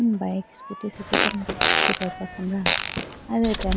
Bike scooty asenji tando suprayipra khambra aye do atembo.